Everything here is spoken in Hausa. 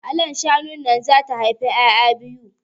Hala shanun nan zata haifi ƴaƴa biyu